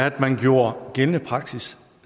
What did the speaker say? at man gjorde gældende praksis